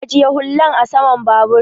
ajiye hullan a saman babur